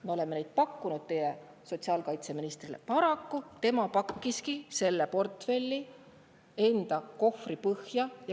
Me oleme pakkunud neid teie sotsiaalkaitseministrile, aga tema pakkis selle portfelli oma kohvri põhja.